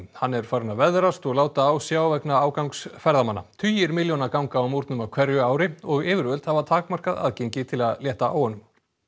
hann er farinn að veðrast og láta á sjá vegna ágangs ferðamanna tugir milljóna ganga á múrnum á hverju ári og yfirvöld hafa takmarkað aðgengi til að létta á honum